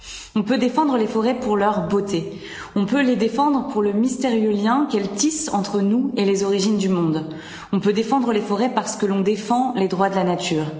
On peut défendre les forêts pour leur beauté, on peut les défendre pour le mystérieux lien qu'elles tissent entre nous et les origines du monde, on peut défendre les forêts parce que l'on défend les droits de la nature.